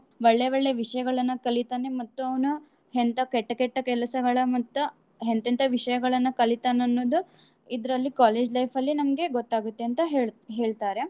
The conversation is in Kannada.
ಒಳ್ಳೆ ಒಳ್ಳೆ ವಿಷ್ಯಗಳನ್ನ ಕಲಿತಾನೇ ಮತ್ತ್ ಅವ್ನು ಎಂತ ಕೆಟ್ಟ್ ಕೆಟ್ಟ್ ಕೆಲ್ಸಗಳ ಮತ್ತ ಎಂತೆಂತ ವಿಷ್ಯಗಳನ್ನ ಕಲಿತಾನ್ ಅನ್ನೋದು ಇದ್ರಲ್ಲಿ college life ಅಲ್ಲಿ ನಮ್ಗೆ ಗೊತ್ತಾಗುತ್ತೆ ಅಂತ ಹೇಳ್~ ಹೇಳ್ತಾರೆ.